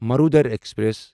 Marudhar express